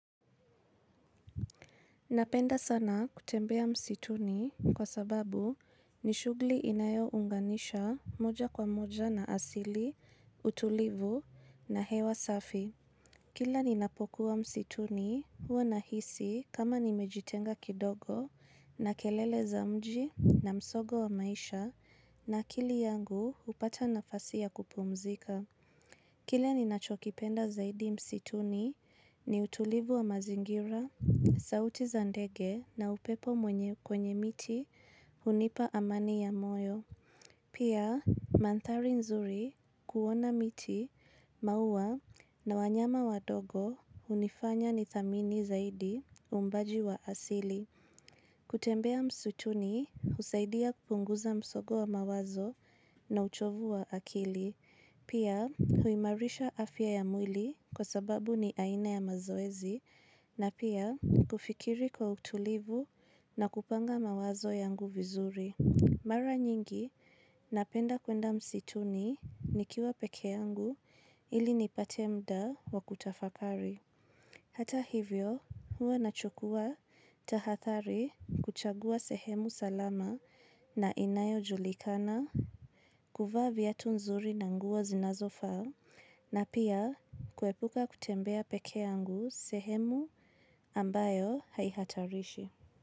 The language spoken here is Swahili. Napenda sana kutembea msituni, kwa sababu ni shughli inayo unganisha moja kwa moja na asili, utulivu, na hewa safi. Kila ninapokuwa msituni huwa nahisi kama nimejitenga kidogo na kelele za mji na msogo wa maisha na akili yangu hupata nafasi ya kupumzika. Kile ni nachokipenda zaidi msituni, ni utulivu wa mazingira, sauti za ndege na upepo mwenye kwenye miti hunipa amani ya moyo. Pia, manthari nzuri kuona miti, maua, na wanyama wadogo hunifanya ni thamini zaidi umbaji wa asili. Kutembea msituni, husaidia kupunguza msogo wa mawazo na uchovu wa akili. Pia huimarisha afya ya mwili kwa sababu ni aina ya mazoezi na pia kufikiri kwa utulivu, na kupanga mawazo yangu vizuri. Mara nyingi, napenda kwenda msituni nikiwa peke yangu ili nipate muda wa kutafakari. Hata hivyo, huwa nachukua tahathari kuchagua sehemu salama na inayojulikana kuvaa viatu nzuri na nguo zinazofaa na pia kuepuka kutembea pekee yangu sehemu ambayo haihatarishi.